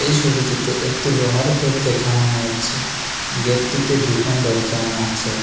এই ছবিতিতে একটি লোহার গেত দেখানো হয়েছে গেতটিতে দুখান দরজান আছে।